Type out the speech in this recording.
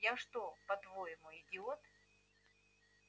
я что по-твоему идиот